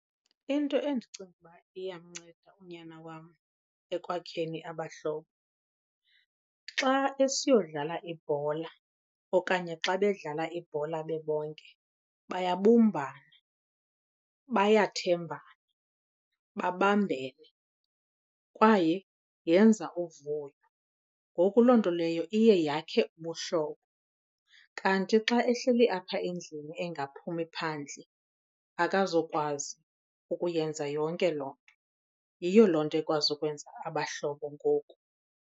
Into endicinga uba iyamnceda unyana wam ekwakheni abahlobo, xa esiyodlala ibhola okanye xa bedlala ibhola bebonke bayabumbana, bayathembana, babambene kwaye yenza uvuyo. Ngoku loo nto leyo iye yakhe ubuhlobo. Kanti xa ehleli apha endlini engaphumi phandle akazukwazi ukuyenza yonke loo nto. Yiyo loo nto ekwazi ukwenza abahlobo ngoku.